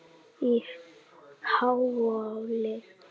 á Háhóli.